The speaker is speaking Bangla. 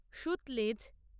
সুতলেজ